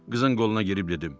Qızın qoluna girib dedim: